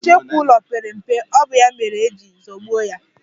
Nchekwu ụlọ pere mpe, ọ bụ ya mere e ji zọgbuo ya.